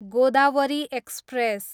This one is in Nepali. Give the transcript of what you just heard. गोदावरी एक्सप्रेस